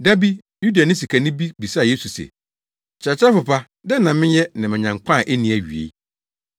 Da bi, Yudani sikani bi bisaa Yesu se, “Kyerɛkyerɛfo pa, dɛn na menyɛ na manya nkwa a enni awiei?”